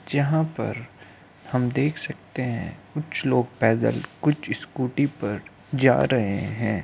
जहाँ पर हम देख सकते हैं कुछ लोग पैदल कुछ स्कूटी पर जा रहे हैं।